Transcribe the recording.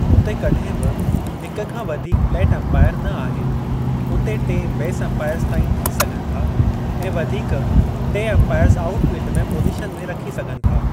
उते कॾहिं बि हिक खां वधीक 'प्लेट एम्पायर न आहे; उते टे 'बेसि एम्पायर्ज़ ताईं थी सघनि था ऐं वधीक टे एम्पायर्ज़ आऊट फ़ील्डि में पोज़ीशन में रखी सघनि था।